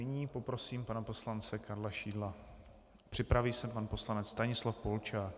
Nyní poprosím pana poslance Karla Šidla, připraví se pan poslanec Stanislav Polčák.